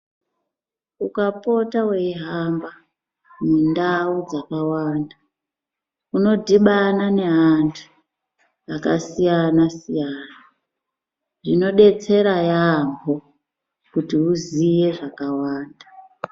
Ukapota wei hamba mundau dzakawanda uno dhibana ne antu aka siyana siyana zvino detsera yamho kuti uziye zvaka wanda .